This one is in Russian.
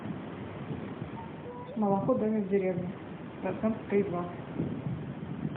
молоко домик в деревне процент три и два